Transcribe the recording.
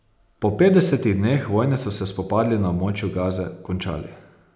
Po petdesetih dneh vojne so se spopadi na območju Gaze končali.